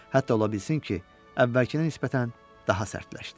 Hətta ola bilsin ki, əvvəlkinə nisbətən daha sərtləşdi.